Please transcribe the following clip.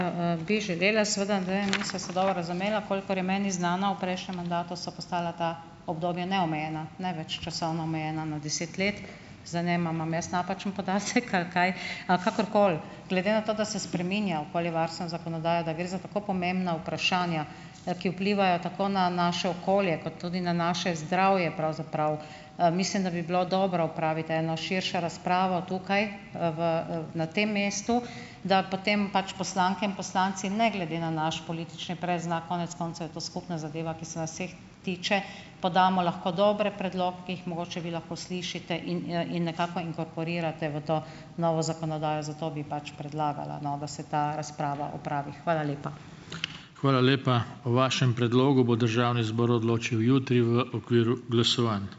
bi želela. Seveda, Andrej, nisva se dobro razumela. Kolikor je meni znano, v prejšnjem mandatu so postala ta obdobja neomejena, ne več časovno omejena na deset let. Zdaj, ne vem, ali imam jaz napačen podatek ali kaj ... A kakorkoli. Glede na to, da se spreminja okoljevarstveno zakonodajo, da gre za tako pomembna vprašanja, ki vplivajo tako na naše okolje kot tudi na naše zdravje pravzaprav, mislim, da bi bilo dobro opraviti eno širšo razpravo tukaj, v, na tem mestu, da potem pač poslanke in poslanci ne glede na naš politični predznak, konec koncev je to skupna zadeva, ki se vseh tiče, pa damo lahko dobre predloge, ki jih mogoče vi lahko slišite in, in nekako inkorporirate v to novo zakonodajo, zato bi pač predlagala, no, da se ta razprava opravi. Hvala lepa.